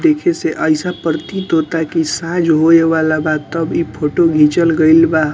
देखे से ऐसा प्रतीत होता है की साइज होवे बा तब इ फोटो घिचल गइल बा |